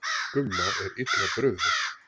Gumma er illa brugðið.